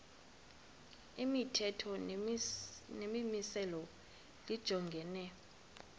imithetho nemimiselo lijongene